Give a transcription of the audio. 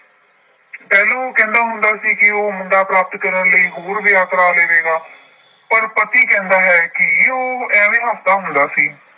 ਪਹਿਲਾ ਉਹ ਕਹਿੰਦਾ ਹੁੰਦਾ ਸੀ ਕਿ ਉਹ ਮੁੰਡਾ ਪ੍ਰਾਪਤ ਕਰਨ ਲਈ ਹੋਰ ਵਿਆਹ ਕਰਾ ਲਵੇਗਾ ਪਰ ਪਤੀ ਕਹਿੰਦਾ ਹੈ ਕਿ ਉਹ ਏਵੇਂ ਹੱਸਦਾ ਹੁੰਦਾ ਸੀ।